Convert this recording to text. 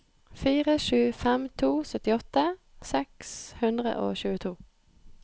fire sju fem to syttiåtte seks hundre og tjueto